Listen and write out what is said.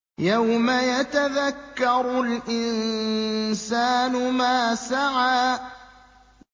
يَوْمَ يَتَذَكَّرُ الْإِنسَانُ مَا سَعَىٰ